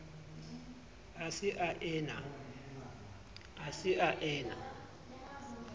a se a e na